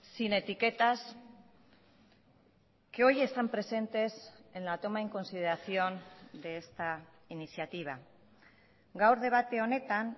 sin etiquetas que hoy están presentes en la toma en consideración de esta iniciativa gaur debate honetan